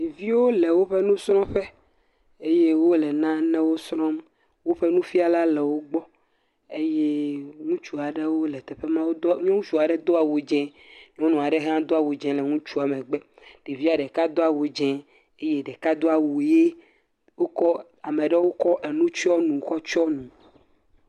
Ɖeviwo woƒe nsrɔƒe eye wole nanewo srɔm woƒe nufiala le wogbɔ eye ŋutsu aɖe do awu dzĩ nyɔnu aɖe ha do awu dzĩ le ŋutsua megbe ɖevia ɖeka do awu dzĩ ɖeka do awu ɣi ame aɖewo kɔ nutsyɔ nu kɔ tsyɔ nu